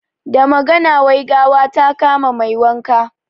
Da magana, wai gawa ta kama mai wanka.